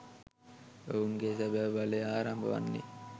ඔවුන්ගේ සැබැ බලය ආරම්භ වන්නේ